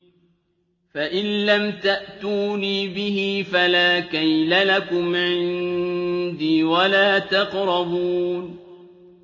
فَإِن لَّمْ تَأْتُونِي بِهِ فَلَا كَيْلَ لَكُمْ عِندِي وَلَا تَقْرَبُونِ